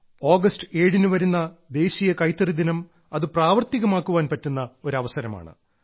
August 7 ന് വരുന്ന ദേശീയ കൈത്തറി ദിനം അത് പ്രാവർത്തികമാക്കാൻ പറ്റുന്ന ഒരു അവസരമാണ്